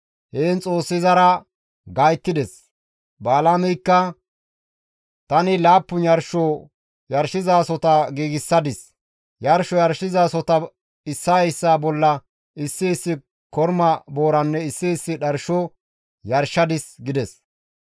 Heen Xoossi izara gayttides; Balaameykka, «Tani laappun yarsho yarshizasohota giigsadis; yarsho yarshizasohota issaa issaa bolla issi issi korma booranne issi issi dharsho yarshadis» gides.